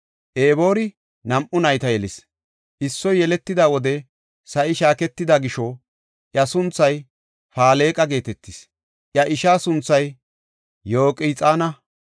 Eboori nam7u nayta yelis; issoy yeletida wode sa7i shaaketida gisho iya sunthay Faleqa geetetis; iya ishaa sunthay Yoqxaana.